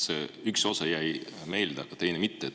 Selle üks osa jäi meelde, aga teine mitte.